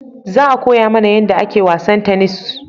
Za a koya mana yanda ake wasan tanis